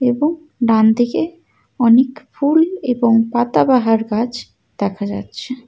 এবং ডানদিকে অনেক ফুল এবং পাতাবাহার গাছ দেখা যাচ্ছে।